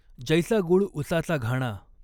जैसा गुळ उसाचा घाणा।